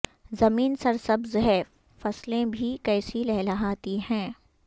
زمیں سر سبز ہے فصلیں بھی کیسی لہلہاتی ہیں